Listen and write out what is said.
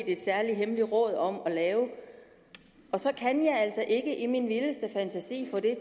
et særligt hemmeligt råd om at lave så kan jeg altså ikke i min vildeste fantasi få det